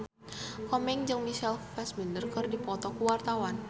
Komeng jeung Michael Fassbender keur dipoto ku wartawan